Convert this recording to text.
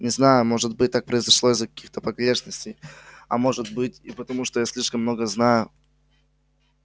не знаю может быть так произошло из-за каких-то погрешностей а может быть и потому что я слишком много знаю